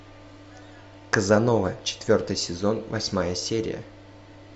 казанова четвертый сезон восьмая серия